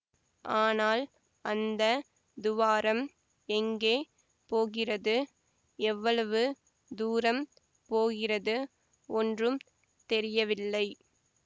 ஆனால் அந்த துவாரம் எங்கே போகிறது எவ்வளவு தூரம் போகிறது ஒன்றும் தெரியவில்லை